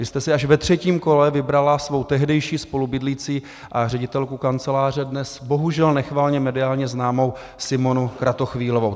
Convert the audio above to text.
Vy jste si až ve třetím kole vybrala svou tehdejší spolubydlící a ředitelku kanceláře, dnes bohužel nechvalně mediálně známou Simonu Kratochvílovou.